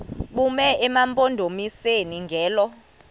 bume emampondomiseni ngelo